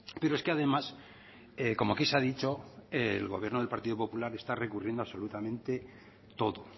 pero es que además como aquí se ha dicho el gobierno del partido popular está recurriendo absolutamente a todo